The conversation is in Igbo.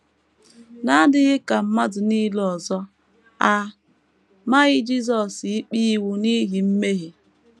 N’adịghị ka mmadụ nile ọzọ, a maghị Jisọs ikpe ịnwụ n’ihi mmehie.